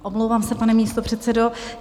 Omlouvám se, pane místopředsedo.